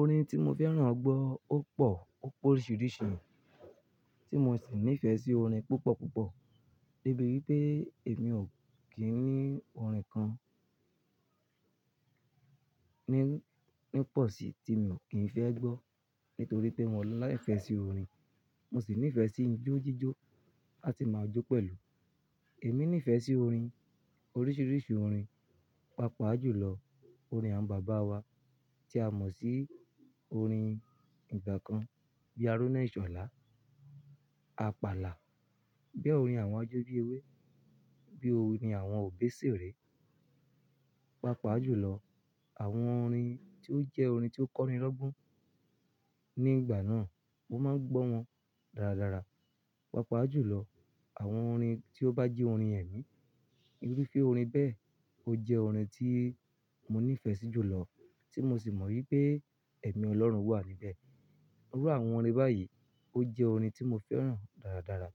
Orin tí mo fẹ́ràn gbọ́ ó pọ̀, ó pé oríṣiríṣi, tí mo sì nífẹ̀ẹ́ sí orin púpọ̀ púpọ̀ débi wípé èmi ò kí ń ní orin kan ní, ní pọ̀ sí tí mi ò kí ń fẹ́ gbọ́ nítorí pé mo láìfẹ́ sí orin. Mo sì nífẹ̀ sí ijó jíjó, la ti máa jó pẹ̀lú. Èmi nífẹ̀ẹ́ sí orin, oríṣiríṣi orin. Papa ju lọ, orin àwọn bàbá wa tí a mọ̀ sí orin ìgbà kan bíi "Aruná ìṣọ̀lá", "Àpàlà". Bíi orin àwọn ajó bíi "Ewé", bíi orin àwọn òbeseré. Papa ju lọ, àwọn orin tí ó jẹ́ orin tí ó kọ́ni lọ́gbọ́n nígbà náà, mo máa ń gbọ́ wọn dáradára. Papa ju lọ, àwọn orin tí ó bá jẹ́ orin ẹ̀mí, irú fé orin bẹ́ẹ̀ ó jẹ́ orin tí mo nífẹ̀ẹ́ sí jùlọ tí mo sì mọ̀ wípé ẹ̀mí Ọlọ́run wà níbẹ̀. Iru àwọn orin báyìí ó jẹ́ orin tí mo fẹ́ràn dáradára